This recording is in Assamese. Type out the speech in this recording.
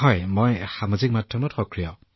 গ্যামাৰ জীঃ হয় মোদীজী মই সক্ৰিয়